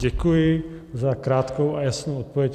Děkuji za krátkou a jasnou odpověď.